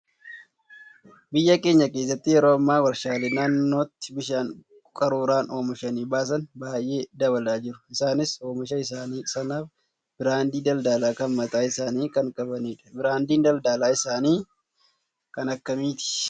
Biyya keenya keessatti yeroo ammaa warshaalee naannootti bishaan qaruuraan oomishanii baasan baay'ee dabalaa jiru. Isaanis oomisha isaanii sanaaf biraandii daldalaa kan mataa isaanii kan qabanidha. Biraandiin daldalaa isaanii kan akkamiiti?